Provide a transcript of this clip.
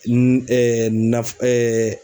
N nafu .